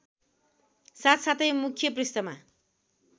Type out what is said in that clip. साथसाथै मुख्य पृष्ठमा